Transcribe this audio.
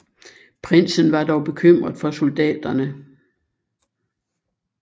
Prinsen var dog bekymret for soldaterne